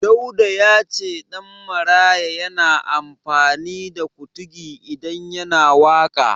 Dauda ya ce Ɗanmaraya yana amfani da Kutugi idan yana waƙa.